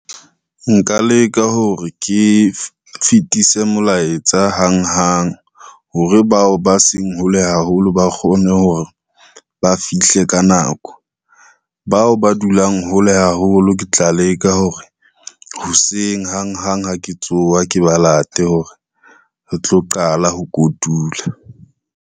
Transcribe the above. Nka leka hore ke fetise molaetsa hang hang hore, bao ba seng hole haholo ba kgone hore ba fihle ka nako. Bao ba dulang hole haholo ke tla leka hore, hoseng hang hang ha ke tsowa, ke ba late hore re tlo qala ho kotula.